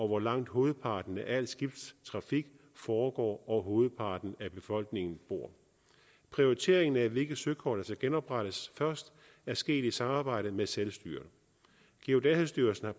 hvor langt hovedparten af al skibstrafik foregår og hvor hovedparten af befolkningen bor prioriteringen af hvilke søkort der skal genoprettes først er sket i samarbejde med selvstyret geodatastyrelsen har